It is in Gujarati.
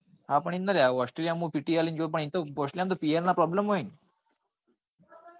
હા પણ એટલે australia માં તો PTE આપી ને જો તો pr નાં problem હોય ને?